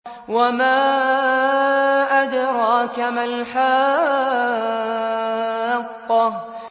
وَمَا أَدْرَاكَ مَا الْحَاقَّةُ